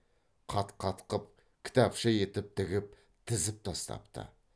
қат қатқып кітапша етіп тігіп тізіп тастапты